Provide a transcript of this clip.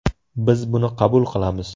Biz buni qabul qilamiz.